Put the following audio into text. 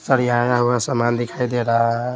सरियाया हुआ सामान दिखाई दे रहा है।